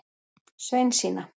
Sveinsína